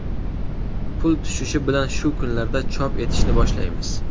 Pul tushishi bilan, shu kunlarda chop etishni boshlaymiz.